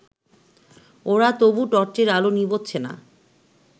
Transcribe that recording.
ওরা তবু টর্চের আলো নিবোচ্ছে না